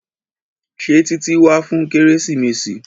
Ṣé Títí wá fún kérésìmesì?